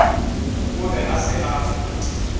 o be a se a